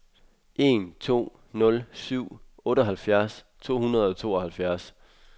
en to nul syv otteoghalvfjerds to hundrede og tooghalvfjerds